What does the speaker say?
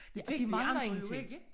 De mangler ingenting